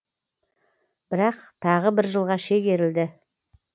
бірақ тағы бір жылға шегерілді